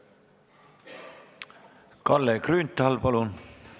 Kalle Grünthal, palun!